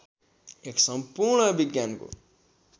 एक सम्पूर्ण विज्ञान हो